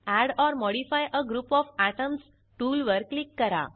add or modify a group of atoms tool वर click करा